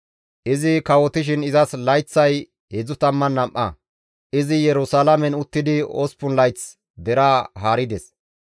Izi kawotishin izas layththay 32; izi Yerusalaamen uttidi 8 layth deraa haarides.